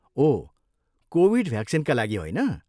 ओह, Covid भ्याक्सिनका लागि होइन?